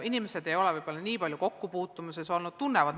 Inimesed ei ole võib-olla omavahel nii hästi tuttavad.